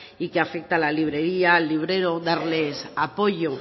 y que afecta a la librería al librero darles apoyo